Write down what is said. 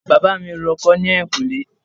Bàbá mi ń ro oko ní ẹ̀yìnkùlé